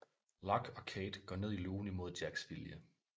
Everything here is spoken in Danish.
Locke og Kate går ned i lugen imod Jacks vilje